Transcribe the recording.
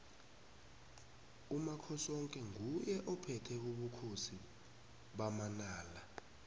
umakhosoke nguye ophethe ubukhosi bamanala